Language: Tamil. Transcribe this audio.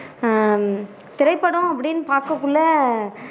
ஆஹ் திரைப்படம் அப்படின்னு பாக்கக்குல்ல